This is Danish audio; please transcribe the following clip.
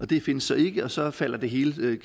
det findes så ikke og så falder det hele til